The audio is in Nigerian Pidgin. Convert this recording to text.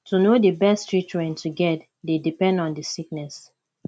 to know di best treatment to get dey depend on the sickness